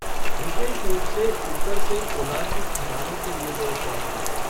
विशेष रूप से ऊपर से कोलार की खदानों के लिए गए शॉट में।